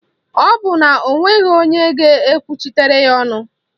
Ọ bụ na o nweghị onye ga-ekwuchitere ya ọnụ